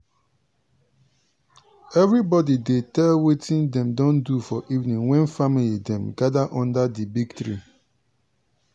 everibodi dey tell wetin dem don do for evening when family dem gather under di big tree.